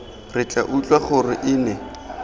re tla utlwa gore ene